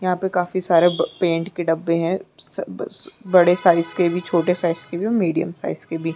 यहाँ पे काफी सारे ब पैंट के डब्बे है स बी स बड़े साइज के भी छोटे साइज के भी और मीडियम साइज के भी--